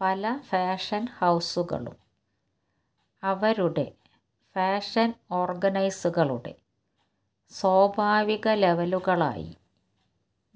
പല ഫാഷൻ ഹൌസുകളും അവരുടെ ഫാഷൻ ഓർഗൻസുകളുടെ സ്വാഭാവിക ലെവലുകളായി